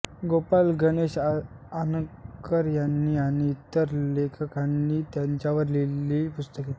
गोपाळ गणेश आगरकर यांनी आणि इतर लेखकांनी त्यांच्यावर लिहिलेली पुस्तके